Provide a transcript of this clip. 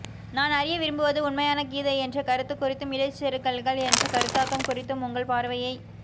நான் அறிய விரும்புவது உண்மையான கீதை என்ற கருத்து குறித்தும் இடைச்செருகல்கள் என்ற கருத்தாக்கம் குறித்தும் உங்கள் பார்வையை